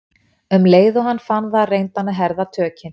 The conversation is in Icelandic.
Um leið og hann fann það reyndi hann að herða tökin.